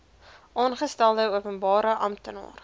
aangestelde openbare amptenaar